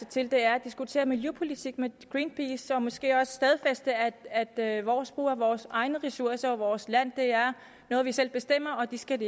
til er at diskutere miljøpolitik med greenpeace og så måske også stadfæste at at vores brug af vores egne ressourcer og vores land er noget vi selv bestemmer og det skal